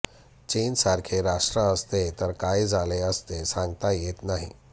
चीनसारखे राष्ट्र असते तर काय झाले असते सांगता येत नाही